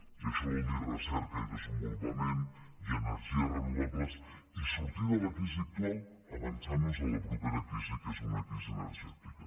i això vol dir recerca i desenvolupament i energies renovables i sortir de la crisi actual avançant nos a la propera crisi que és una crisi energètica